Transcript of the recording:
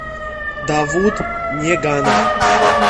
давуд неганов